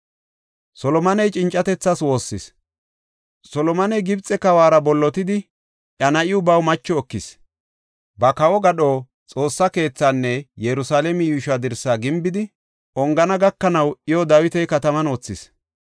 Solomoney Gibxe kawara bollotidi, iya na7iw baw macho ekis. Ba kawo gadho, Xoossa keethaanne Yerusalaame yuushuwa dirsa gimbidi ongana gakanaw iyo Dawita Kataman wothis.